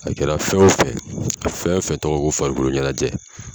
A kɛra fɛn o fɛn ye fɛn o fɛn tɔgɔ ye ko farikoloɲɛnajɛ